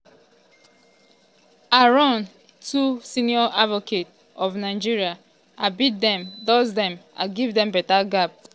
i run against two senior advocates of nigeria i beat um dem dust dem i give dem beta gap.